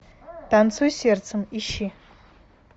танцуй сердцем ищи